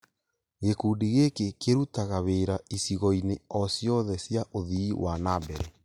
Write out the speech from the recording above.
Gĩkundi gĩkĩ kĩrutaga wĩra icigo-inĩ o cĩothe cĩa ũthii wa na mbere.